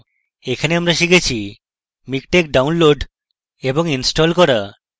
in tutorial আমরা শিখেছি: MiKTeX download এবং install করা